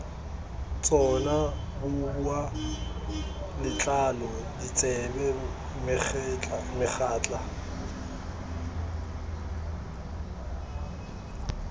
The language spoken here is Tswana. tsona boboa letlalo ditsebe megatla